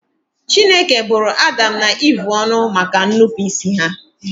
Chineke bụrụ Adam na Eve ọnụ maka ñụpụịsị ha